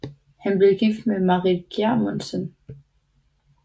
Han blev gift med Marit Gjermundsen